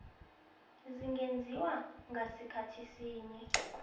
zingenziwa ngasikhathi sinye